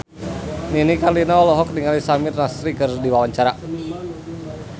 Nini Carlina olohok ningali Samir Nasri keur diwawancara